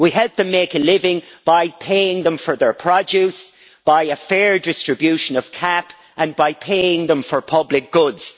We help them make a living by paying them for their produce, by a fair distribution of the CAP and by paying them for public goods.